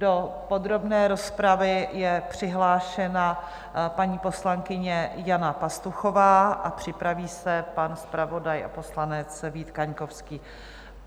Do podrobné rozpravy je přihlášena paní poslankyně Jana Pastuchová a připraví se pan zpravodaj a poslanec Vít Kaňkovský.